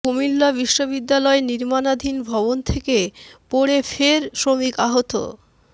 কুমিল্লা বিশ্ববিদ্যালয় নির্মাণাধীন ভবন থেকে পড়ে ফের শ্রমিক আহত